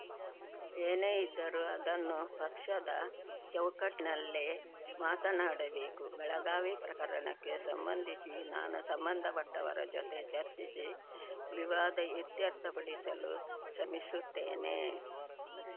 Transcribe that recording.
ಏನೇ ಇದ್ದರೂ ಅದನ್ನು ಪಕ್ಷದ ಚೌಕಟ್ನಲ್ಲೇ ಮಾತನಾಡಬೇಕು ಬೆಳಗಾವಿ ಪ್ರಕರಣಕ್ಕೆ ಸಂಬಂಧಿಸಿ ನಾನು ಸಂಬಂಧಪಟ್ಟವರ ಜೊತೆ ಚರ್ಚಿಸಿ ವಿವಾದ ಇತ್ಯರ್ಥ ಪಡಿಸಲು ಶ್ರಮಿಸುತ್ತೇನೆ